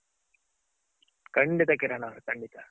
ಖಂಡಿತ ಕಿರಣ್ ಅವ್ರೆ ಖಂಡಿತ.